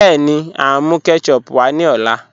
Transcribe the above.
Bẹẹni, à n mú kẹ́tẹ̀chùp wá ní ọlá